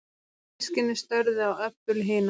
Systkinin störðu á Öbbu hina.